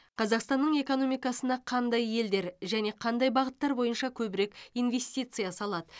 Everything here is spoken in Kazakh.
қазақстанның экономикасына қандай елдер және қандай бағыттар бойынша көбірек инвестиция салады